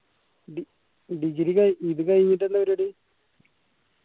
de degree കയിഞ്ഞി ഇത് കയിഞ്ഞിട്ട് എന്ത പരുവാടി